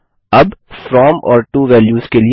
अब फ्रॉम और to values के लिए